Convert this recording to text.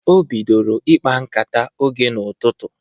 O bidoro ịkpa nkata oge n'ụtụtụ